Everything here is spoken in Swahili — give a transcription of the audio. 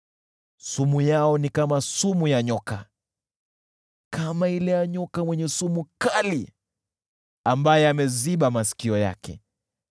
Sumu yao ni kama sumu ya nyoka, kama ile ya fira ambaye ameziba masikio yake,